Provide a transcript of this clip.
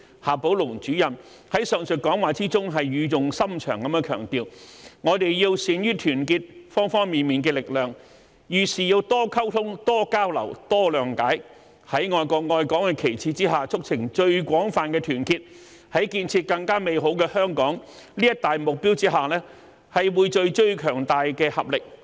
夏寶龍主任在上述講話中語重心長地強調，我們要善於團結方方面面的力量，遇事多溝通、多交流、多諒解，在愛國愛港的旗幟下促成最廣泛的團結，在建設更美好的香港這一大目標下匯聚最強大的合力。